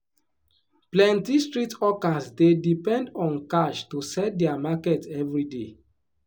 plenty street hawkers dey depend on cash to sell their market every day.